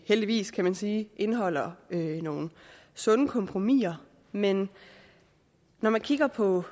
heldigvis kan man sige indeholder nogle sunde kompromiser men når vi kigger på